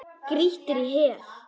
Grýttir í hel.